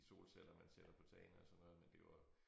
De solceller man sætter på tagene og sådan noget men det var